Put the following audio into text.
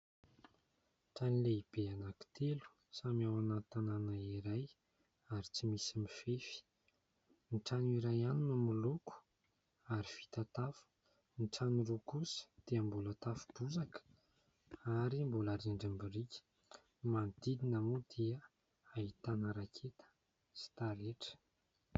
Trano lehibe anankitelo samy ao anaty tanàna iray ary tsy misy mifefy. Ny trano iray ihany no miloko ary vita tafo, ny trano roa kosa dia mbola tafo bozaka ary mbola rindrim-biriky, manodidina moa dia ahitana raketa sy tarehitra.